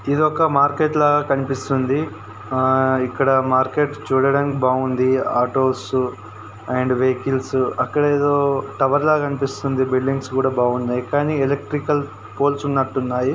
ఇది ఒక మార్కెట్ లాగా కనిపిస్తుంది. ఆ ఇక్కడ మార్కెట్ చూడడానికి బాగుంది. ఆటోస్ అండ్ వెహికల్స్ అక్కడ ఏదో టవర్ లాగా కనిపిస్తుంది. బిల్లింగ్స్ కూడా బాగున్నాయి కానీ ఎలక్ట్రికల్ పోల్స్ ఉన్నట్టున్నాయి.